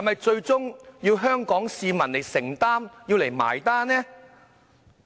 最終要香港市民承擔和結帳呢？